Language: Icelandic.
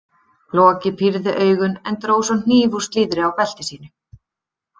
Loki pírði augun en dró svo hníf úr slíðri á belti sínu.